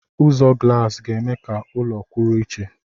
Ụzọ glaasi ga-eme ka ụlọ kwụrụ iche.